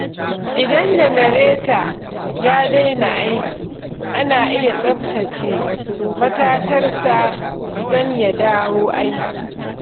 Idan janareta ya daina aiki, ana iya tsaftace matatarsa don ya dawo aiki.